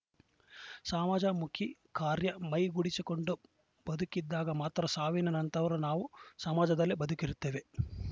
ಸಮಾಜ ಮುಖಿ ಕಾರ್ಯ ಮೈಗೂಡಿಸಿಕೊಂಡು ಬದುಕಿದ್ದಾಗ ಮಾತ್ರ ಸಾವಿನ ನಂತರವೂ ನಾವು ಸಮಾಜದಲ್ಲಿ ಬದುಕಿರುತ್ತೇವೆ